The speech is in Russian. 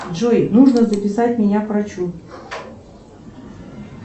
джой нужно записать меня к врачу